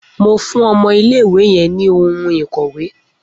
Mo fún ọmọ iléìwè yẹn ní ohun ìkọ̀wé